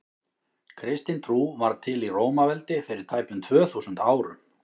kristin trú varð til í rómaveldi fyrir tæpum tvö þúsund árum